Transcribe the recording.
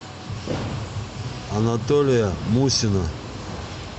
анатолия мусина